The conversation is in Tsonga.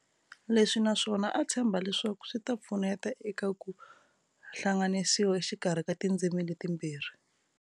Leswi na swona a tshemba leswaku swita pfuneta eka ku hlanganisiwa exikarhi ka tindzimi letimbirhi.